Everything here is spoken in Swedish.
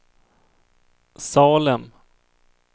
Salem